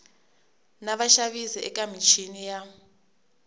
na vaxavis eka michini ya